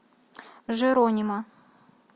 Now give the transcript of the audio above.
джеронимо